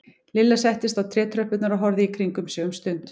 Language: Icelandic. Lilla settist á trétröppurnar og horfði í kringum sig um stund.